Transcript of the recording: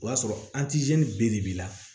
O y'a sɔrɔ b de b'i la